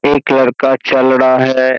एक लड़का चल रहा है।